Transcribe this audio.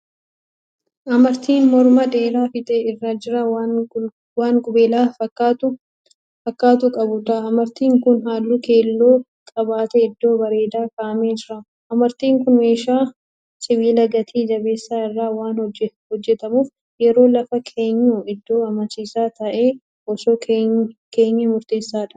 Amartii mormaa dheeraa fiixee isaa irraa waan qubeelaa fakkaatu qabuudha. Amartiin kun halluu keelloo qabatee iddoo bareedaa ka'aamee jira. Amartiin kun meeshaa sibiila gati jabeessa irraa waan hojjetamuuf yeroo lafa keenyu iddoo amansiisaa ta'e osoo keenyee murteessaadha.